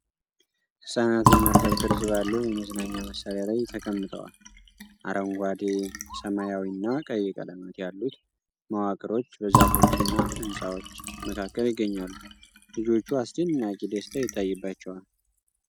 ህጻናት በመርከብ ቅርጽ ባለው የመዝናኛ መሣሪያ ላይ ተቀምጠዋል። አረንጓዴ፣ ሰማያዊና ቀይ ቀለማት ያሉት መዋቅሮች በዛፎችና ሕንፃዎች መካከል ይገኛሉ። ልጆቹ አስደናቂ ደስታ ይታይባቸዋል።